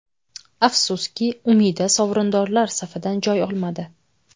Afsuski, Umida sovrindorlar safidan joy olmadi.